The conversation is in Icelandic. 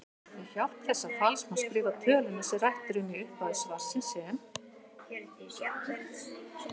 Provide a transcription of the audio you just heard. Með hjálp þessa falls má skrifa töluna sem rætt er um í upphafi svarsins sem